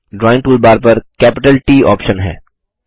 drawing toolbar पर capital ट option है